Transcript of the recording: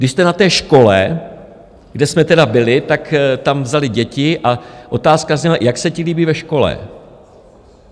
Když jste na té škole, kde jsme tedy byli, tak tam vzali děti a otázka zněla: Jak se ti líbí ve škole?